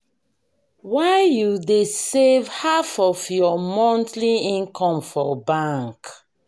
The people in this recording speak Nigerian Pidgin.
why you dey save half of you monthly income for bank?